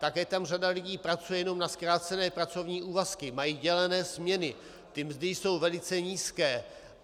Také tam řada lidí pracuje jenom na zkrácené pracovní úvazky, mají dělené směny, ty mzdy jsou velice nízké.